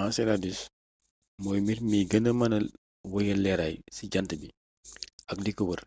enceladus mooy mbir mi gëna mëna wéyal leeraay ci jànt bi ak liko wër